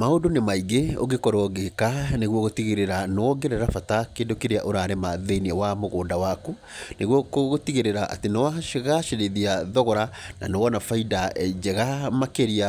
Maũndũ nĩ maingĩ ũngĩkorwo ũgĩka nĩguo gũtigĩrĩra nĩwongerera bata kĩndũ kĩrĩa ũrarima thĩiniĩ wa mũgũnda waku, nĩguo gũtigĩrĩra atĩ nĩwagacĩrithia thogora, na nĩwona bainda njega makĩrĩa